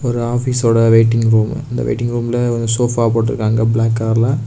ஒரு ஆபீஸோட waiting room அந்த வெயிட்டிங் ரூம்ல சோபா போட்ருக்காங்க பிளாக் கலர்ல .